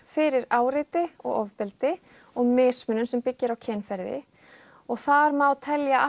fyrir áreiti og ofbeldi og mismunun sem byggir á kynferði og þar má telja